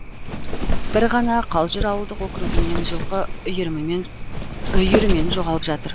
бір ғана қалжыр ауылдық округінен жылқы үйірімен жоғалып жатыр